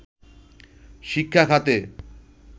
শিক্ষাখাতে